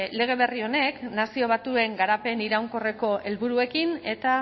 lege berri honek nazio batuen garapen iraunkorreko helburuekin eta